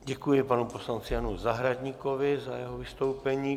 Děkuji panu poslanci Janu Zahradníkovi za jeho vystoupení.